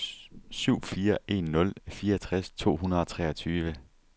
syv fire en nul fireogtres to hundrede og treogtyve